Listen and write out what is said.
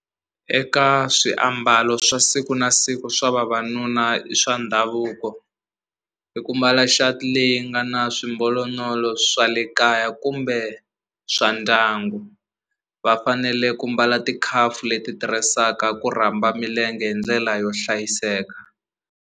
Eka swiambalo swa siku na siku swa vavanuna i swa ndhavuko i ku mbala shirt leyi nga na swimbalonolo swa le kaya kumbe swa ndyangu va fanele ku mbala ti leti tirhisaka ku rhamba milenge hi ndlela yo hlayiseka.